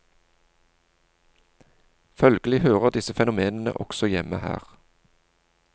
Følgelig hører disse fenomenene også hjemme her.